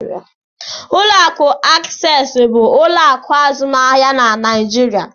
Ụlọ akụ Access bụ ụlọ akụ azụmahịa na Naijiria.